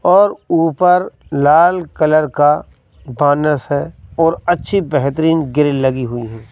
और ऊपर लाल कलर का बानस है और अच्छी बेहतरीन ग्रिल लगी हुई हैं।